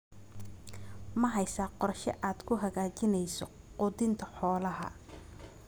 Ma haysaa qorshe aad ku hagaajinayso quudinta xoolaha?